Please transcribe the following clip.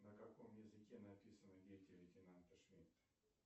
на каком языке написано дети лейтенанта шмидта